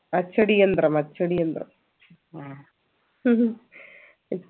അച്ചടിയന്ത്രം അച്ചടിയന്ത്രം